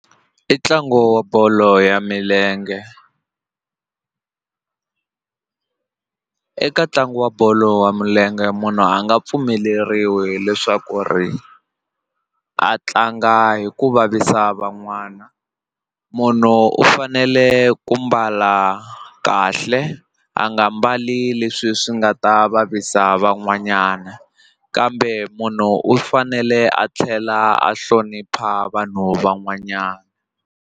I ntlangu wa bolo ya milenge eka ntlangu wa bolo ya milenge munhu a nga pfumeleriwi leswaku ri a tlanga hi ku vavisa van'wana munhu u fanele ku mbala kahle a nga mbali leswi swi nga ta vavisa van'wanyana kambe munhu u fanele a tlhela a hlonipha vanhu van'wanyana.